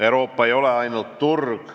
Euroopa ei ole ainult turg.